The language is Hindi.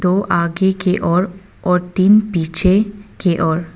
दो आगे की ओर और तीन पीछे की ओर--